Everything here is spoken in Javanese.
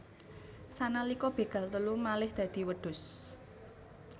Sanalika begal telu malih dadi wedhus